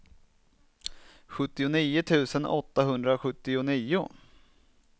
sjuttionio tusen åttahundrasjuttionio